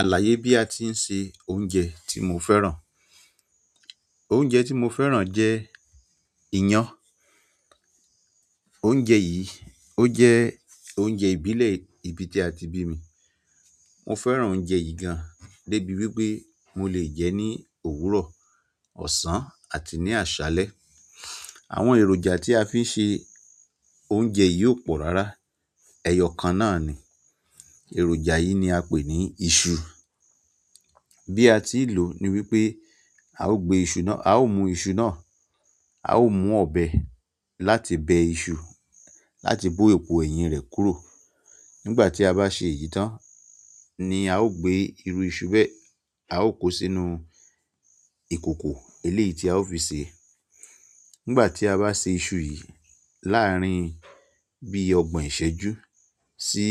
Àlàyé bí a ti ń se oúnjẹ tí mo fẹ́ràn. Oúnjẹ tí mo fẹ́ràn jẹ́ iyán. Oúnjẹ yìí, ó jẹ́ oúnjẹ ìbílẹ̀ ibi tí a ti bí mi. Mo fẹ́ràn oúnjẹ yìí gan-an débi wípé mo lè jẹ́ ní òwúrọ̀, ọ̀sán àti ní àṣálẹ́. Àwọn èròjà tí a fi ń ṣe oúnjẹ yìí ó pọ̀ rárá. Ẹyọ kan náà ni, èròjà yìí ni a pè ní iṣu. Bí a ti ì lò ni wípé a ó gbe ìṣù náà-- a ó mú ìṣù náà, a ó mú ọbẹ láti bẹ ìṣù, láti bó epo ẹ̀yìn rẹ̀ kúrò. Nígbà tí a bá ṣe èyí tán ni a ó gbé irú ìṣù bẹ, a ó kó sínú ìkòkò eléyìí tí a ó fi sè é. Nígbà tí a bá sè ìṣù yìí láàárín bí ọgbọ̀n ìṣẹ́jú sí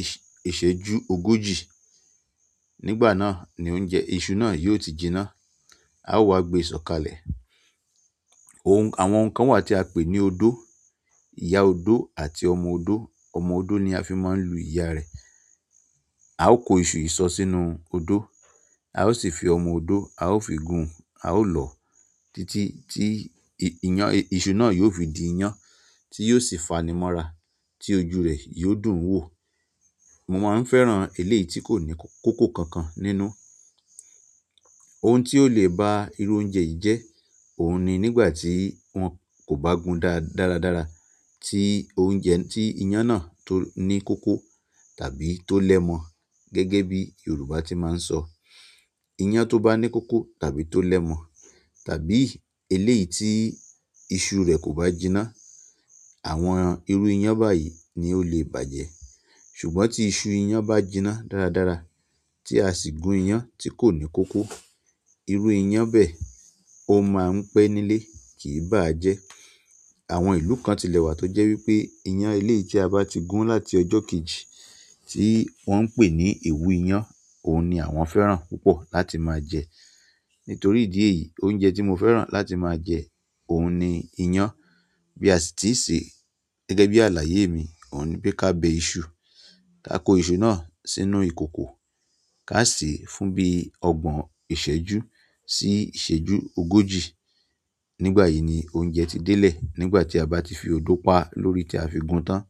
ìṣ- ìṣẹ́jú ogójì, nígbà náà ni oúnjẹ-- ìṣù náà yóò ti jiná. Awa gbe sokale. Ohun-- àwọn nǹkan wà tí a pè ní odó, ìyá odó àti ọmọ odó. Ọmọ odó ni a fi máa ń lu ìyá rẹ̀. A ó kó ìṣù ìsọ sínú odó, a ó sì fi ọmọ odó, a ó fi gún un, a ó lọ títí tí ìy- ìyàn- ìṣù náà yóò fi di iyán tí yóò sì fanimọ́ra tí ojú rẹ̀ yóò dùn wò. Mo máa ń fẹ́ràn eléyìí tí kò ní k- kòkò kankan nínú. Ohun tí ó lè ba irú oúnjẹ yìí jẹ́, òun ni nígbà tí wọn kò bá gún dá- dáradára, tí oúnjẹ-- tí iyán náà tó ní kòkò tàbí tó lẹ́mọ gẹ́gẹ́ bí Yorùbá tí máa ń sọ. Iyán tó bá ní kòkò tàbí tó lẹ́mọ tàbí eléyìí tí iṣu rẹ̀ kò bá jiná, àwọn irú iyán báyìí ni ó lè bàjẹ́. Ṣùgbọ́n tí iṣu iyán bá jiná dáradára tí a sì gún iyán tí kò ní kòkò, irú iyán bẹ ò máa ń pẹ́ nílé, kì í bá a jẹ́. Àwọn ìlú kan tilẹ̀ wà tó jẹ́ wípé iyán eléyìí tí a bá ti gún láti ọjọ́ kejì tí wọ́n ń pè ní ewu iyán, òun ni àwọn fẹ́ràn púpọ̀ láti máa jẹ. Nítorí idi èyí oúnjẹ ti mo fẹ́ràn láti ma je oun ni iyan. Bí a sì ti ì ṣe gẹ́gẹ́ bí àlàyé mi, òun ni pé ká bẹ ìṣù, ká kó ìṣù náà sínú ìkòkò, ká sè é fún bí ọgbọ̀n ìṣẹ́jú sí ìṣẹ́jú ogójì. Nígbà yìí ni oúnjẹ ti délẹ̀. Nígbà tí a bá ti fi odó pa lórí tí a fi gún tán.